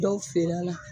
Dɔw feere a la